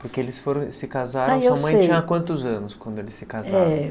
Porque eles foram eles se casaram, sua mãe tinha quantos anos quando eles se casaram?